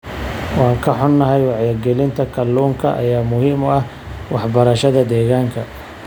Waan ka xunnahay, wacyigelinta kalluunka ayaa muhiim u ah waxbarashada deegaanka.